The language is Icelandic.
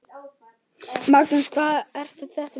Magnús: Hvað er þetta mikið?